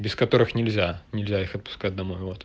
без которых нельзя нельзя их отпускать домой вот